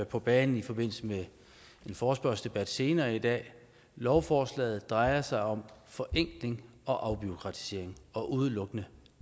på banen i forbindelse med en forespørgselsdebat senere i dag lovforslaget drejer sig om forenkling og afbureaukratisering og udelukkende